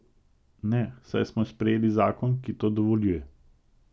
Ne, saj smo sprejeli zakon, ki to dovoljuje.